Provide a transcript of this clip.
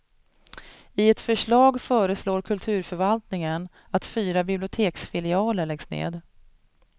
I ett förslag föreslår kulturförvaltningen att fyra biblioteksfilialer läggs ned.